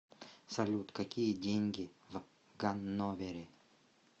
салют какие деньги в ганновере